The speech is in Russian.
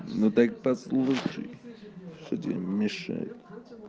ну так послушай что тебе мешает